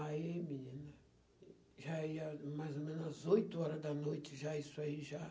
Aí, menina, já ia mais ou menos às oito horas da noite, já isso aí, já.